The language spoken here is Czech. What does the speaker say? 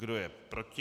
Kdo je proti?